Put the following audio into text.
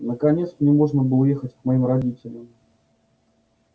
наконец мне можно было ехать к моим родителям